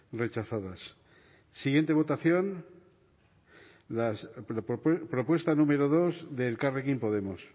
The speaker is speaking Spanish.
rechazadas siguiente votación la propuesta número dos de elkarrekin podemos